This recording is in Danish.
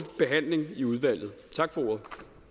behandling i udvalget tak for ordet